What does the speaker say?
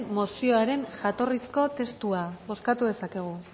mozioaren jatorrizko testua bozkatu dezakegu